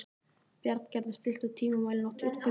Bjarngerður, stilltu tímamælinn á tuttugu og fimm mínútur.